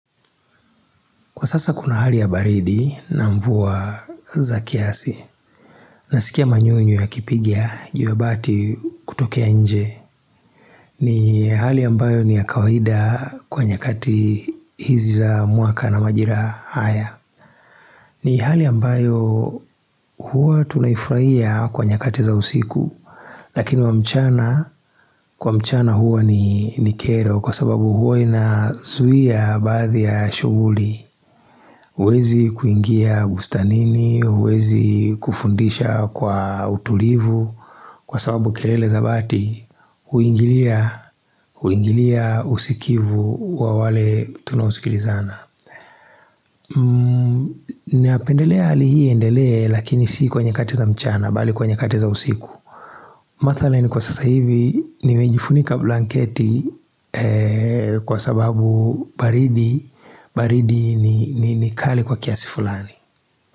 Kwa sasa kuna hali ya baridi na mvua za kiasi, nasikia manyunyu yakipiga jiwe bati kutokea nje, ni hali ambayo ni ya kawaida kwa nyakati hizi za mwaka na majira haya. Ni hali ambayo huwa tunaifraia kwa nyakati za usiku, lakini wa mchana, kwa mchana huwa ni kero kwa sababu huwa inasuia baadhi ya shughuli. Huwezi kuingia bustanini, huwezi kufundisha kwa utulivu kwa sababu kerele za bati, huingilia, huingilia usikivu wa wale tunaosikilizana. Ninapendelea hali hii iendelee lakini sii kwa nyakati za mchana bali kwa nyakati za usiku Mathalani kwa sasa hivi nimejifunika blanketi kwa sababu baridi ni kali kwa kiasi fulani.